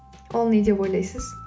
ол не деп ойлайсыз